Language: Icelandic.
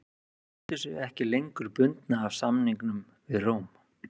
Þeir töldu sig ekki lengur bundna af samningum við Róm.